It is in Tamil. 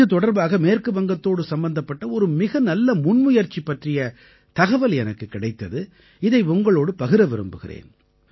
இது தொடர்பாக மேற்கு வங்கத்தோடு சம்பந்தப்பட்ட ஒரு மிக நல்ல முன்முயற்சி பற்றிய தகவல் எனக்குக் கிடைத்தது இதை உங்களோடு பகிர விரும்புகிறேன்